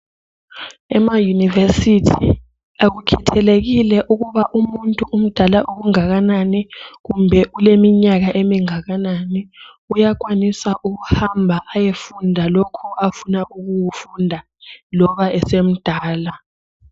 Ema university akukhethelekile ukuba umuntu umdala okungakanani kumbe uleminyaka emingakanani uyakwanisa ukuhamba ayefunda lokhu afuna ukukufunda loba esemdala